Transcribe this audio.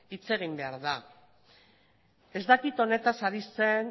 hitz egin behar da ez dakit honetaz ari zen